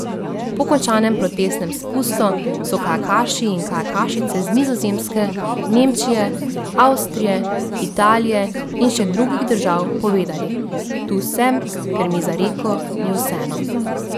Po končanem protestnem spustu so kajakaši in kajakašice z Nizozemske, Nemčije, Avstrije, Italije in še drugih držav povedali: "Tu sem, ker mi za reko ni vseeno.